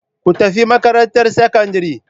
Ku tafi makarantar sakandare.